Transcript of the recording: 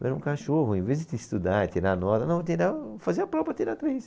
Eu era um cachorro, ao invés de estudar e tirar nota, não, tirava, fazia a prova para tirar três.